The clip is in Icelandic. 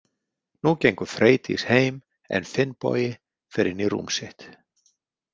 Nú gengur Freydís heim en Finnbogi fer inn í rúm sitt.